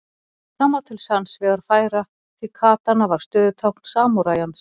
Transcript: Það má til sanns vegar færa því katana var stöðutákn samúræjans.